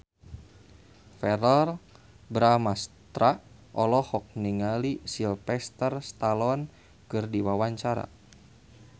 Verrell Bramastra olohok ningali Sylvester Stallone keur diwawancara